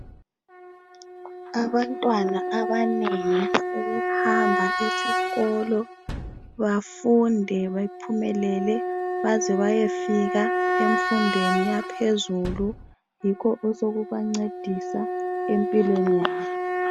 Abantwana abanengi sebehamba ezikolo bafunde baphumelele baze baye fika emfundweni yaphezulu. Yikho osekubancedisa empilweni yabo